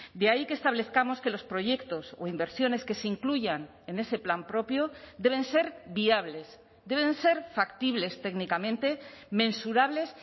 de ahí que establezcamos que los proyectos o inversiones que se incluyan en ese plan propio deben ser viables deben ser factibles técnicamente mensurables